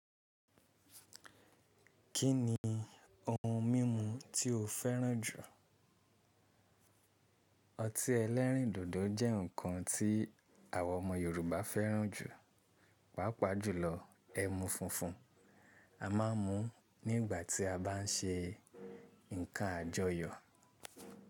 Kí ni ohun mímu tí o fẹ́ràn jù? Ọtí ẹlẹ́rìndòdò jẹ́ nǹkan tí àwa ọmọ Yorùbá fẹ́ràn jù, pàápàá jùlọ ẹmu funfun. A máa ń mu nígbà tí a bá ń ṣe nǹkan àjọyọ̀.